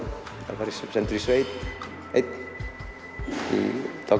sendur í sveit einn í